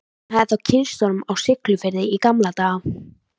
Hún hafði þá kynnst honum á Siglufirði í gamla daga.